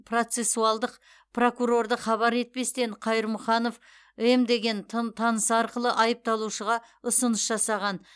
процессуалдық прокурорды хабар етпестен қайырмұханов м деген танысы арқылы айыпталушыға ұсыныс жасаған